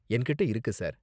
என்கிட்ட இருக்கு, சார்.